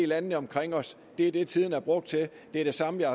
landene omkring os og det er det tiden er blevet brugt til det er det samme jeg